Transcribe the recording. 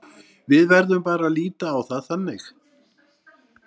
Við verðum bara að líta á það þannig.